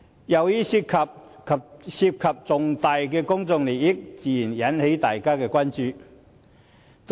由於這涉及重大公眾利益，自然引起大家的關注。